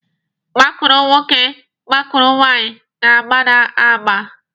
Gbakụrụ nwoke gbakụrụ nwaanyị na-agba agba.